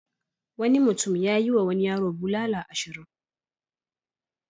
Wani mutum ya yiwa wani yaro bulala ashirin.